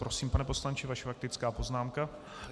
Prosím, pane poslanče, vaše faktická poznámka.